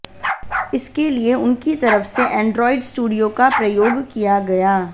इस के लिए उन की तरफ से एंड्रोईड स्टूडियो का प्रयोग किया गया